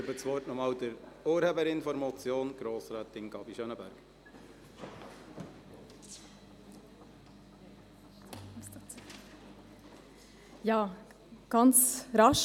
Ich erteile das Wort noch einmal der Urheberin der Motion, Grossrätin Gabi Schönenberger.